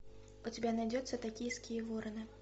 у тебя найдется токийские вороны